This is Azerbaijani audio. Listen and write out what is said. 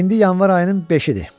İndi yanvar ayının beşidir.